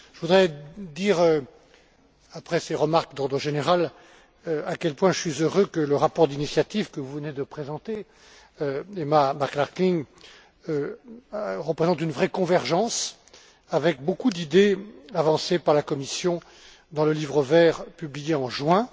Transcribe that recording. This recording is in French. Je voudrais dire, après ces remarques d'ordre général, à quel point je suis heureux que le rapport d'initiative que vous venez de présenter, Madame McClarkin, représente une vraie convergence avec beaucoup d'idées avancées par la Commission dans le livre vert publié en juin.